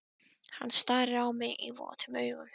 Hann starir á mig votum augum.